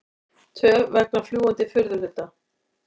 Töf vegna fljúgandi furðuhluta